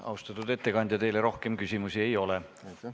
Austatud ettekandja, teile rohkem küsimusi ei ole.